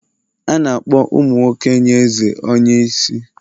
A na-akpọ ụmụ nwoke nye eze onye isi